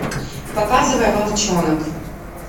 показывай волчонок